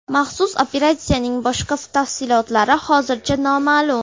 Maxsus operatsiyaning boshqa tafsilotlari hozircha noma’lum.